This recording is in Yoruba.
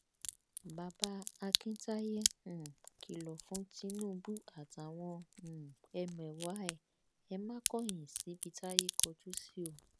bàbá akintaye um kìlọ fún tinubu àtàwọn um ẹmẹwà ẹ ẹ ma kọyìn síbi táyé kọjú sí o